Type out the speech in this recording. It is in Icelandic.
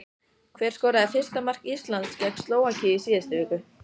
Hver skoraði fyrsta mark Íslands gegn Slóvakíu í síðustu viku?